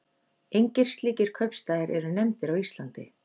Engir slíkir kaupstaðir eru nefndir á Íslandi.